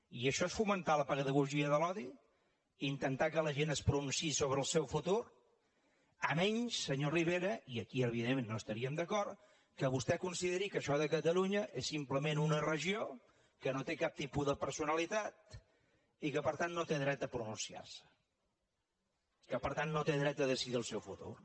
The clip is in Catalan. i això és fomentar la pedagogia de l’odi intentar que la gent es pronunciï sobre el seu futur si no és senyor rivera i aquí evidentment no estaríem d’acord que vostè consideri que això de catalunya és simplement una regió que no té cap tipus de personalitat i que per tant no té dret a pronunciar se que per tant no té dret a decidir el seu futur